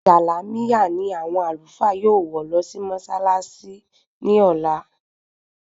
Jàlámíà ni àwọn Àlùfáà yóò wọ̀ lọ mọṣálááṣí ní ọ̀la